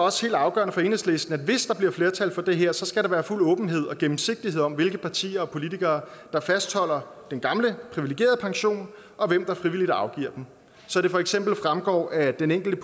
også helt afgørende for enhedslisten at der hvis der bliver flertal for det her så skal være fuld åbenhed og gennemsigtighed om hvilke partier og politikere der fastholder den gamle privilegerede pension og hvem der frivilligt afgiver den så det for eksempel fremgår af den enkelte